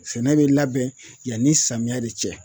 Sɛnɛ bɛ labɛn yanni samiyɛ de cɛ